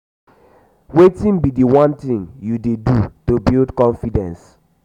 wetin be di one thing you dey do to build confidence?